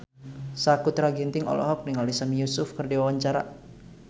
Sakutra Ginting olohok ningali Sami Yusuf keur diwawancara